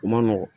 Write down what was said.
U man nɔgɔn